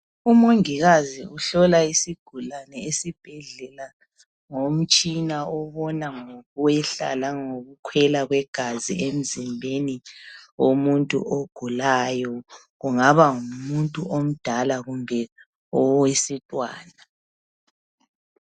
Umongikazi uhlola isigulane esibhedlela ngomtshina obona ngokwehla langokukhwela kwegazi emzimbeni womuntu ogulayo kungaba ngumuntu omdala kumbe owesintwana.